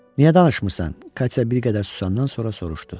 Niyə danışmırsan, Katya bir qədər susandan sonra soruşdu.